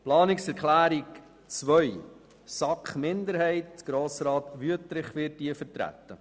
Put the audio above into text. Zu Planungserklärung 2: Die SAK-Minderheit wird von Grossrat Wüthrich vertreten.